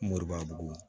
Moribo